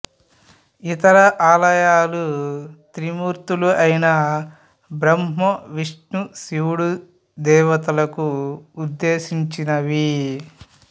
ఇతర ఆలయాలు త్రిమూర్తులు అయిన బ్రహ్మ విష్ణువు శివుడు దేవతలకు ఉద్దేశించినవి